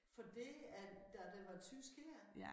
Fordi at da det var tysk her